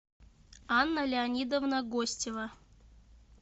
анна леонидовна гостева